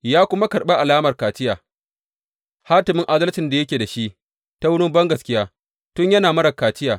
Ya kuma karɓi alamar kaciya, hatimin adalcin da yake da shi ta wurin bangaskiya tun yana marar kaciya.